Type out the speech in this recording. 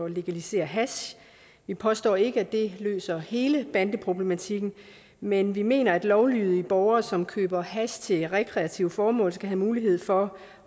legalisere hash vi påstår ikke at det løser hele bandeproblematikken men vi mener at lovlydige borgere som køber hash til rekreative formål skal have mulighed for